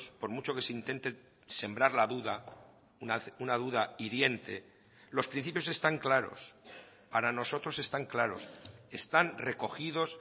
por mucho que se intente sembrar la duda una duda hiriente los principios están claros para nosotros están claros están recogidos